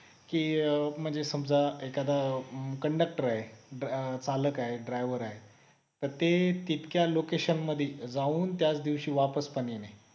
कि म्हणजे समजा एखादा conductor आहे चालक आहे driver आहे तर ते तितक्या location मध्ये जाऊन त्याच दिवशी वापस पण येणे